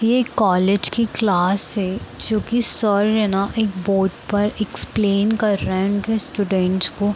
ये कॉलेज की क्लास है जो की सर ने ना एक बोर्ड पर एक्सप्लेन कर रहे हैं उनके स्टूडेंट्स को।